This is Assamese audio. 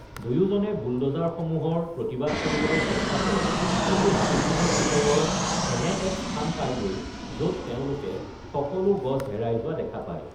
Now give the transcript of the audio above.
দুয়োজনে বুলড'জাৰসমূহৰ প্ৰতিবাদ কৰিবলৈ চেষ্টা কৰে কিন্তু হাবিখনৰ ভিতৰৰ এনে এক স্থান পাইগৈ য’ত তেওঁলোকে সকলো গছ হেৰাই যোৱা দেখা পায়।